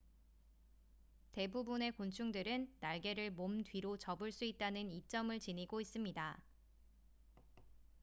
대부분의 곤충들은 날개를 몸 뒤로 접을 수 있다는 이점을 지니고 있습니다